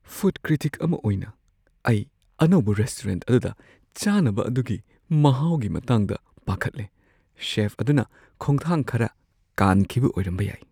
Food critic ꯑꯃ ꯑꯣꯏꯅ, ꯑꯩ ꯑꯅꯧꯕ ꯔꯦꯁꯇꯨꯔꯦꯟꯠ ꯑꯗꯨꯗ ꯆꯥꯅꯕ ꯑꯗꯨꯒꯤ ꯃꯍꯥꯎꯒꯤ ꯃꯇꯥꯡꯗ ꯄꯥꯈꯠꯂꯦ꯫ ꯁꯦꯐ ꯑꯗꯨꯅ ꯈꯣꯡꯊꯥꯡ ꯈꯔ ꯀꯥꯟꯈꯤꯕ ꯑꯣꯏꯔꯝꯕ ꯌꯥꯏ꯫